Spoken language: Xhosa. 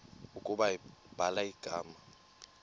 ukuba ubhala igama